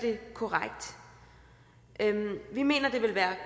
korrekt vi mener det vil være